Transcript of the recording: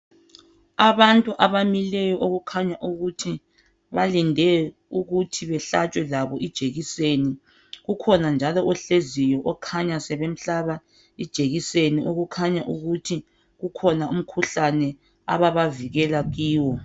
Abantu abamileyo okukhanya ukuthi balinde ukuthi behlatshwe labo ijekiseni. Ukhona njalo ohleziyo okhanya sebemhlaba ijekiseni okukhanya ukuthi kukhona umkhuhlane ababavikela kiwo.